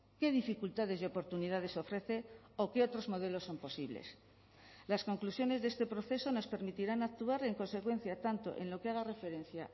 qué dificultades y oportunidades ofrece o qué otros modelos son posibles las conclusiones de este proceso nos permitirán actuar en consecuencia tanto en lo que haga referencia